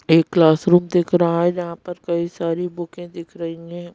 एक क्लासरूम दिख रहा है जहां पर कई सारी बुकें दिख रही हैं।